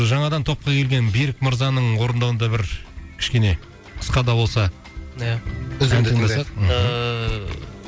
жаңадан топқа келген берік мырзаның орындауында бір кішкене қысқа да болса иә үзінді ән тыңдасақ ыыы